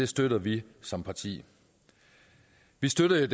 støtter vi som parti vi støttede